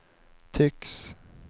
tycks